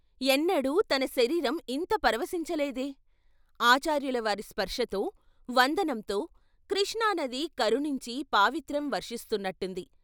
ఎన్నడూ తన శరీరం ఇంత పరవశించ లేదే ఆచార్యుల వారి స్పర్శతో, వందనంతో కృష్ణానది కరుణించి పావిత్ర్యం వర్షిస్తున్నట్టుంది.